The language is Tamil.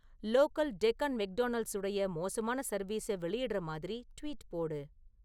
லோக்கல் டெக்கன் மெக்டொனல்ட்ஸுடைய மோசமான சர்வீஸை வெளியிடுற மாதிரி ட்வீட் போடு